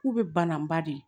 K'u bɛ bananba de